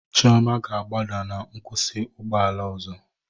Chioma ga-agbada na nkwụsị ụgbọ ala ọzọ